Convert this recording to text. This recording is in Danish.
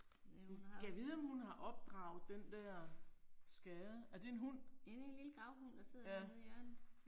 Ja hun har også. Det en lille gravhund der sidder dernede i hjørnet